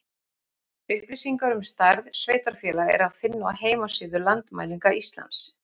Upplýsingar um stærð sveitarfélaga er að finna á heimasíðu Landmælinga Íslands.